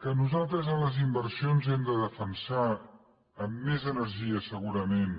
que nosaltres en les inversions hem de defensar amb més energia segurament